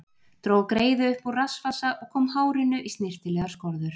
Dró greiðu upp úr rassvasa og kom hárinu í snyrtilegar skorður.